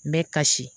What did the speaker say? N bɛ kasi